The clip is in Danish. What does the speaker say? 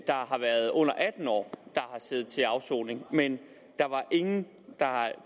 der har været under atten år der har siddet til afsoning men ingen der